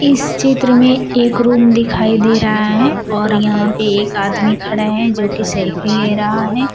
इस चित्र में एक रूम दिखाई दे रहा है और यहां पे एक आदमी खड़ा है जो की सेल्फी ले रहा है।